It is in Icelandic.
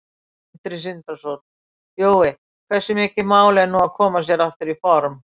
Sindri Sindrason: Jói, hversu mikið mál er nú að koma sér aftur í form?